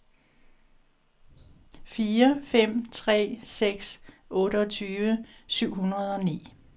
fire fem tre seks otteogtyve syv hundrede og ni